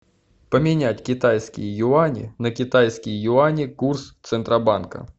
поменять китайские юани на китайские юани курс центробанка